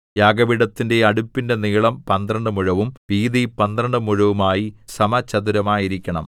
യാഗപീഠത്തിന്റെ അടുപ്പിന്റെ നീളം പന്ത്രണ്ട് മുഴവും വീതി പന്ത്രണ്ട് മുഴവുമായി സമചതുരമായിരിക്കണം